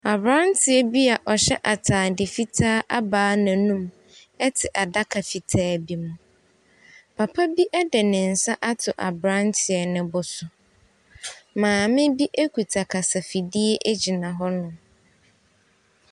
Aberanteɛ bi a ɔhyɛ atade fitaa abae n'anum te adaka fitaa bi mu. Papa bi de ne nsa ato aberanteɛ no bo so. Maame bi kuta kasafidie gyina hɔnom.